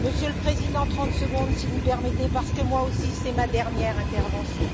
Monsieur le Président, 30 secondes, si vous le permettez, parce que moi aussi, c'est ma dernière intervention.